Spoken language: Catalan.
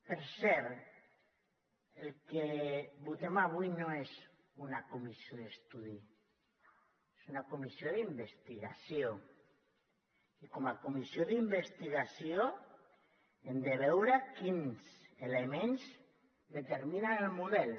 per cert el que votem avui no és una comissió d’estudi és una comissió d’investigació i com a comissió d’investigació hem de veure quins elements determinen el model